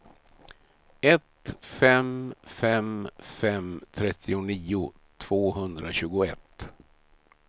ett fem fem fem trettionio tvåhundratjugoett